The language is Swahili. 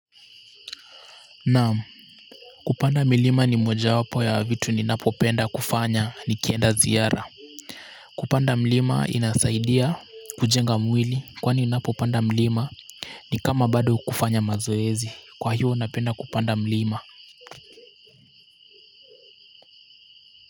Naam, kupanda milima ni moja wapo ya vitu ninapopenda kufanya nikienda ziara. Kupanda mlima inasaidia kujenga mwili, kwani ninapopanda mlima, ni kama bado kufanya mazoezi kwa hiyo napenda kupanda mlima.